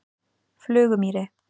Flugumýri